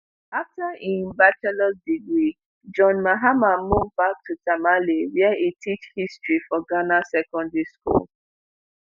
afta im ba degree john mahama move back to tamale wia e teach history for ghana secondary school